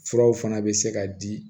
Furaw fana bɛ se ka di